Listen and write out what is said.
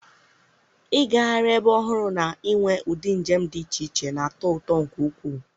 ịgagharị ebe ọhụrụ na inwe ụdị njem dị iche iche na-atọ ụtọ nke ukwuu.